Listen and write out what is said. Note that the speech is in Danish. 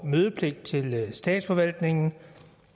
mødepligt til statsforvaltningen